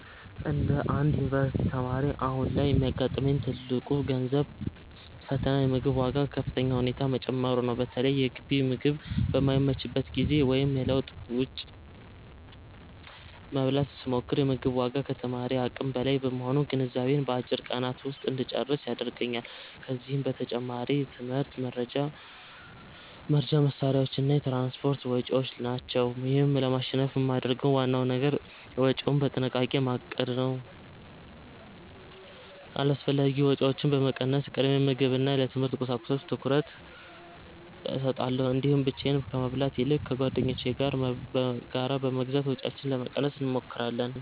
እንደ አንድ የዩኒቨርሲቲ ተማሪ፣ አሁን ላይ የሚያጋጥመኝ ትልቁ የገንዘብ ፈተና የምግብ ዋጋ በከፍተኛ ሁኔታ መጨመሩ ነው። በተለይ የግቢ ምግብ በማይመችበት ጊዜ ወይም ለለውጥ ውጭ ለመብላት ስሞክር፤ የ ምግቡ ዋጋ ከተማሪ አቅም በላይ በመሆኑ ገንዘቤን በአጭር ቀናት ውስጥ እንጨርስ ያደርገኛል። ከዚህም በተጨማሪ የትምህርት መርጃ መሣሪያዎችና የትራንስፖርት ወጪዎች ናቸው። ይህን ለማሸነፍ የማደርገው ዋናው ነገር ወጪዬን በጥንቃቄ ማቀድ ነው። አላስፈላጊ ወጪዎችን በመቀነስ፣ ቅድሚያ ለምግብና ለትምህርት ቁሳቁሶች ትኩረት እሰጣለሁ። እንዲሁም ብቻዬን ከመብላት ይልቅ ከጓደኞቼ ጋር በጋራ በመግዛት ወጪያችንን ለመቀነስ እንሞክራለን።